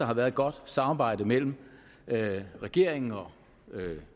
har været et godt samarbejde mellem regeringen og